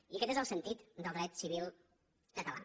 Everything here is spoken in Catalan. i aquest és el sentit del dret civil català